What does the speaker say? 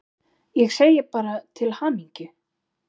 Ég segi bara til hamingju!